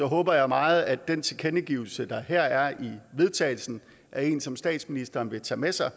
håber jeg meget at den tilkendegivelse der her er i vedtagelsen er en som statsministeren vil tage med sig og